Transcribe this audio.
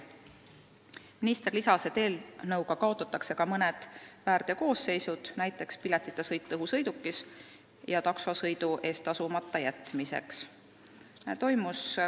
Minister lisas, et eelnõuga kaotatakse ka mõned väärteokoosseisud, näiteks piletita sõit õhusõidukis ja taksosõidu eest tasumata jätmine.